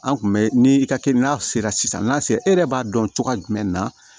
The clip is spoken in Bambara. An kun bɛ ni i ka kɛ n'a sera sisan n'a sera e yɛrɛ b'a dɔn cogoya jumɛn na